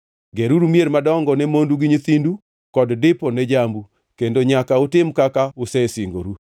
Geruru mier madongo ne mondu gi nyithindu, kod dipo ne jambu, kendo nyaka utim kaka usesingoru.”